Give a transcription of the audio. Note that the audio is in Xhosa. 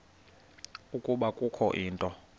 ukuba kukho into